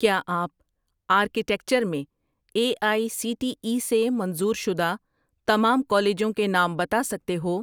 کیا آپ آرکٹیکچر میں A I C T E سے منظور شدہ تمام کالجوں کے نام بتا سکتے ہو